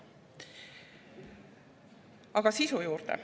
Aga sisu juurde.